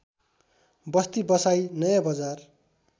बस्ती बसाई नयाँबजार